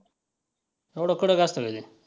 एवढा कडक असतं का ते?